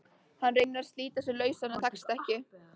Hann reynir að slíta sig lausan en tekst ekki.